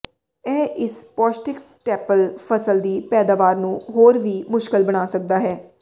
ਇਹ ਇਸ ਪੌਸ਼ਟਿਕ ਸਟੈਪਲ ਫਸਲ ਦੀ ਪੈਦਾਵਾਰ ਨੂੰ ਹੋਰ ਵੀ ਮੁਸ਼ਕਲ ਬਣਾ ਸਕਦਾ ਹੈ